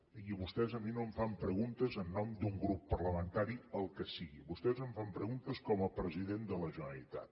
i vostès a mi no em fan preguntes en nom d’un grup parlamentari el que sigui vostès em fan preguntes com a president de la generalitat